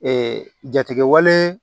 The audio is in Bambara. jatigɛwale